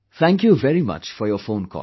Thank you very much for your phone call